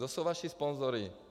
Kdo jsou vaši sponzoři?